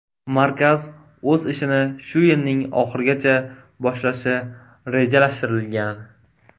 Markaz o‘z ishini shu yilning oxirigacha boshlashi rejalashtirilgan.